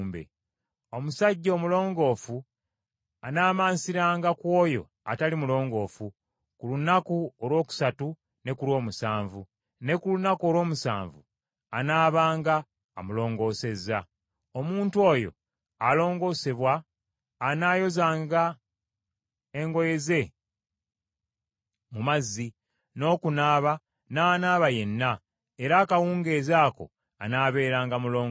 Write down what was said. Omusajja omulongoofu anaamansiranga ku oyo atali mulongoofu ku lunaku olwokusatu ne ku lw’omusanvu, ne ku lunaku olw’omusanvu anaabanga amulongoosezza. Omuntu oyo alongoosebwa anaayozanga engoye ze mu mazzi, n’okunaaba n’anaaba yenna; era akawungeezi ako anaabeeranga mulongoofu.